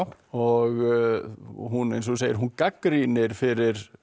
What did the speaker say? og hún eins og þú segir hún gagnrýnir fyrir